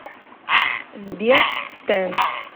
сбер стэн